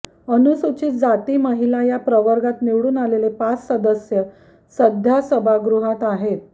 अनुसूचित जाती महिला या प्रवर्गात निवडून आलेले पाच सदस्य सध्या सभागृहात आहेत